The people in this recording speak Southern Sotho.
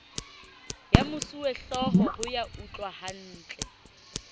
ya mosuwehlooho ho ya utlwahantle